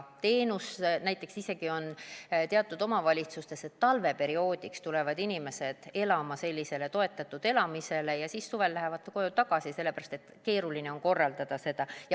Näiteks teatud omavalitsustes on isegi nii, et talveperioodiks tulevad inimesed elama sellisele toetatud elamisele ja siis suvel lähevad koju tagasi.